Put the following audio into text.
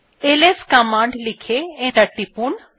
LS command লিখে enter টিপুন